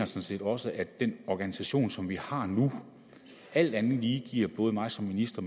set også at den organisation som vi har nu alt andet lige giver både mig som minister